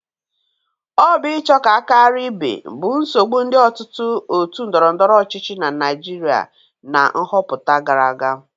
Ọ bụ ịcho ka a karia ibe bụ nsogbụ ndị ọtụtụ otu ndọrọndọrọ ọchịchị na Naịjịrịa na nghọpụta gara aga.